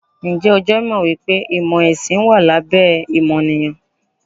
Ǹjẹ́ o jẹ́ mọ̀ wípé ìmò ẹ̀sìn wà lábẹ́ ìmọ̀nìyàn?